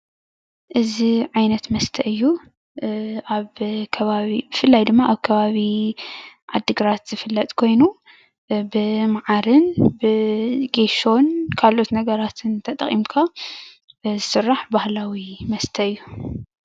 እዚ ዓይነት መስተ እዩ፡፡ ብፍላይ ድማ ኣብ ከባቢ ዓዲግራት ዝፍለጥ ኮይኑ ብማዓርን ብጌሶን ካልኦት ነገራት ተጠቂምካ ዝስራሕ ባህላዊ መስተ እዩ፡፡